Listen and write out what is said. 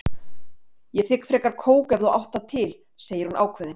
Ég þigg frekar kók ef þú átt það til, segir hún ákveðin.